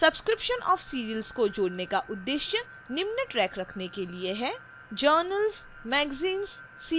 subscription of serials को जोड़ने का उद्देश्य निम्न track रखने के लिए है